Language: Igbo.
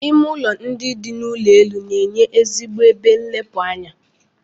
Ime ụlọ ndị dị n'ụlọ elu na-enye ezigbo ebe nlepụ anya.